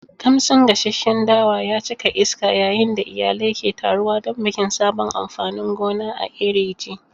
Kamshin gasasshen dawa ya cika iska yayin da iyalai ke taruwa don bikin sabon amfanin gona a Iri ji.